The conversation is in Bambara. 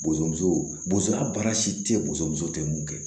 Boson musoya baara si tɛ boso muso tɛ mun kɛ